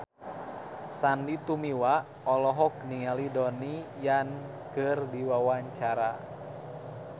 Sandy Tumiwa olohok ningali Donnie Yan keur diwawancara